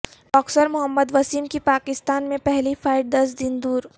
boxer Muhammad Waseem کی پاکستان میں پہلی فائٹ دس دن دور